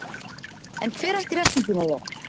En hver ætti refsingin að vera?